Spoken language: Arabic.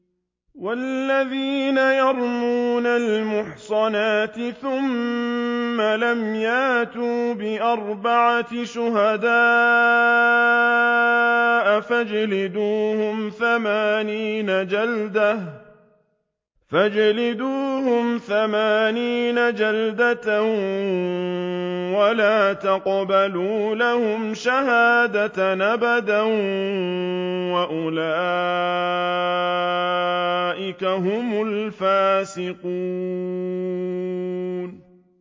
وَالَّذِينَ يَرْمُونَ الْمُحْصَنَاتِ ثُمَّ لَمْ يَأْتُوا بِأَرْبَعَةِ شُهَدَاءَ فَاجْلِدُوهُمْ ثَمَانِينَ جَلْدَةً وَلَا تَقْبَلُوا لَهُمْ شَهَادَةً أَبَدًا ۚ وَأُولَٰئِكَ هُمُ الْفَاسِقُونَ